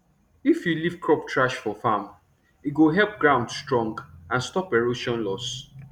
if you leave crop trash for farm e go help ground strong and stop erosion loss